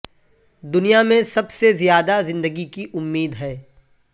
دنیا میں سب سے زیادہ زندگی کی امید ہے